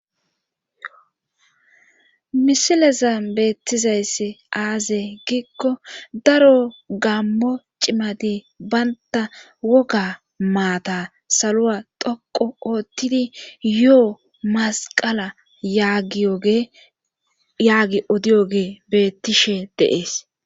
misileza beettizayssi aaze giikko daro gammo cimati baynta woga maata saloa toqo oottidi yoo masqala yaagi odiyoge bettishe dee'es